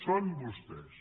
són vostès